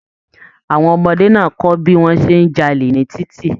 Àwọn ọmọdé náà kọ bí wọn ṣe n j'alè ní titi.